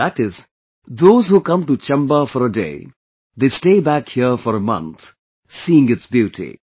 That is, those who come to Chamba for a day, they stay back here for a month seeing its beauty